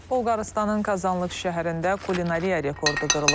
Bolqarıstanın Kazanlıq şəhərində kulinariya rekordu qırılıb.